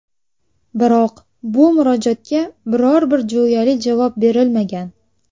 Biroq bu murojaatga biror-bir jo‘yali javob berilmagan.